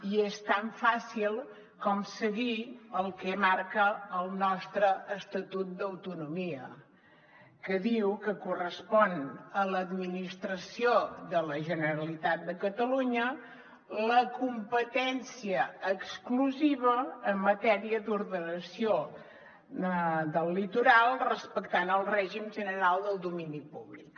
i és tan fàcil com seguir el que marca el nostre estatut d’autonomia que diu que correspon a l’administració de la generalitat de catalunya la competència exclusiva en matèria d’ordenació del litoral respectant el règim general del domini públic